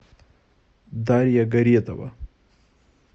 дарья горетова